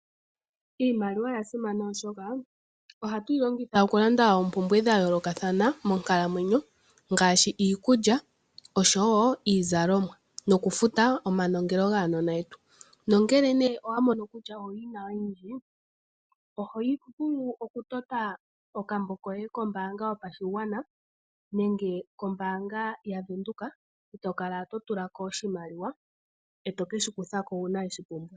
Iimaliwa oya simana oshoka ohatu yi longitha okulanda oompumbwe dha yoolokathana monkalamweyo, ngaashi iikulya oshowo iizalomwa nokufuta omanongelo gaanona yetu. Nongele nee owa mono kutya owu yina oyindji oho yi vulu okutota okambo koye kombaanga yopashigwana nenge kombaanga ya Venduka. E to kala to tulako oshimaliwa, e to ke shi kuthako uuna we shi pumbwa.